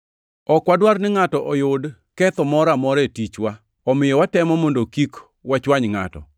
Ok wadwar ni ngʼato oyud ketho moro amora e tichwa, omiyo watemo mondo kik wachwany ngʼato.